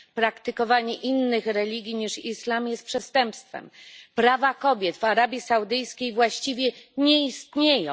Praktykowanie innych religii niż islam jest przestępstwem. Prawa kobiet w Arabii Saudyjskiej właściwie nie istnieją.